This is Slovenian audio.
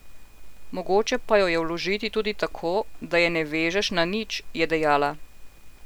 Mogoče pa jo je vložiti tudi tako, da je ne vežeš na nič, je dejala.